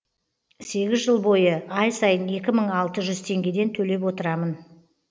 сегіз жыл бойы ай сайын екі мың алты жүз теңгеден төлеп отырамын